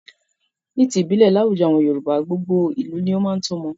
Ni ti ìbílẹ̀, láwùjọ àwọn Yorùbá, gbogbo ìlú ni ó máa ń tọ́mọ.